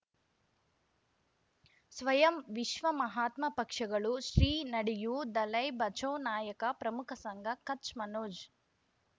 ಸ್ವಯಂ ವಿಶ್ವ ಮಹಾತ್ಮ ಪಕ್ಷಗಳು ಶ್ರೀ ನಡೆಯೂ ದಲೈ ಬಚೌ ನಾಯಕ ಪ್ರಮುಖ ಸಂಘ ಕಚ್ ಮನೋಜ್